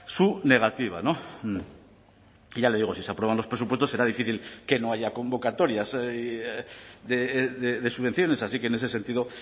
su negativa y ya le digo si se aprueban los presupuestos será difícil que no haya convocatorias de subvenciones así que en ese sentido